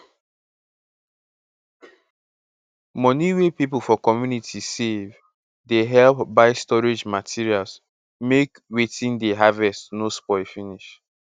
moni wey people for community save dey help buy storage materials make wetin dey harvest no spoil finish